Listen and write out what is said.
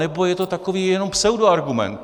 Anebo je to takový jenom pseudoargument.